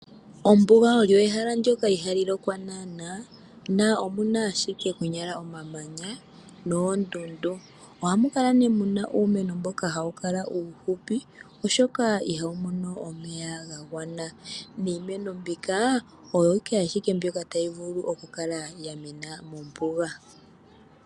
Ombuga olyo ehala ndjoka ihali lokwa naana, na omuna ashike konyala omamanya noondundu. Ohamu kala nee muna uumeno mboko hawu kala uufupi oshoka ihawu mono omeya ga ganwa, niimeno mbika oyo ashike tayi vulu oka kala ya mena mombuga.